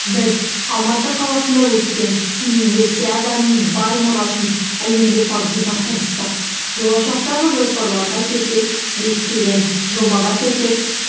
біз алматы қаласында өткен универсиаданың бай мұрасын әлемге танытуға тырыстық болашақтағы жоспарларға келсек бекітілген жобаға сәйкес